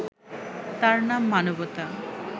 তার নাম মানবতা